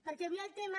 perquè avui el tema